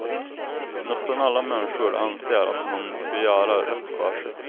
Nästan alla människor anser att man skall göra rätt för sig.